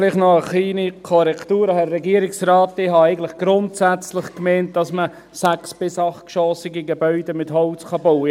Vielleicht noch eine kleine Korrektur: Herr Regierungsrat, ich habe eigentlich gemeint, dass man sechs- bis achtgeschossige Gebäude mit Holz bauen kann;